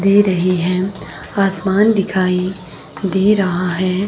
दे रही है आसमान दिखाई दे रहा है।